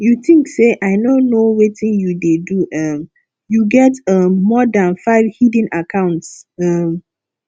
you think say i no know wetin you dey do um you get um more dan five hidden accounts um